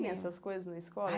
Tinha essas coisas na escola?